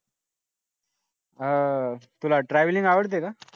हा तुला travelling आवडते का?